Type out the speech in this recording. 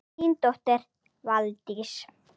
Þín dóttir, Valdís.